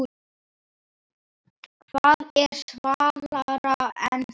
Hvað er svalara en það?